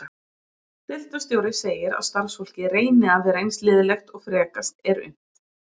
Deildarstjóri segir að starfsfólkið reyni að vera eins liðlegt og frekast er unnt.